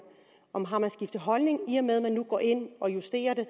om man har skiftet holdning i og med at man nu går ind og justerer det